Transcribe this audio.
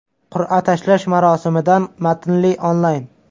Qur’a tashlash marosimidan matnli onlayn.